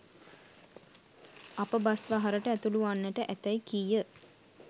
අප බස් වහරට ඇතුළුවන්නට ඇතැයි කීය